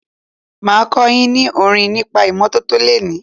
Máa kọ́ yín ní orin nípa ìmọ́tọ́tọ́ lení.